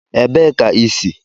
Ebee ka i si?